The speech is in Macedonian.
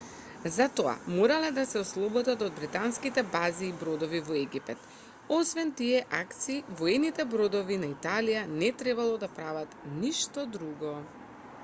за тоа морале да се ослободат од британските бази и бродови во египет освен тие акции воените бродови на италија не требало да прават ништо друго